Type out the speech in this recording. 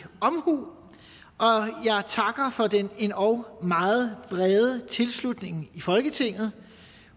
omhu og jeg takker for den endog meget brede tilslutning i folketinget